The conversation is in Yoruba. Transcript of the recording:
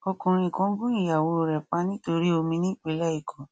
ọkùnrin kan gun ìyàwó rẹ pa nítorí omi ní ìpínlẹ èkó